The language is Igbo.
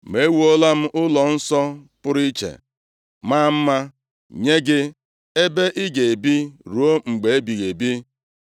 Ma ewuola m ụlọnsọ pụrụ iche, maa mma nye gị, ebe ị ga-ebi ruo mgbe ebighị ebi!”